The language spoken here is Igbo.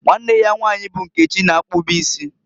Nwanne ya nwanyi bụ Nkechi na-akpụbụ isi.